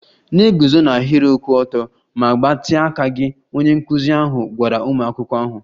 Na-eguzo n'ahịrị kwụ ọtọ ma gbatịa aka gị! Onye nkụzi ahụ gwara ụmụ akwụkwọ ahụ.